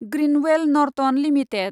Grindwell Norton limited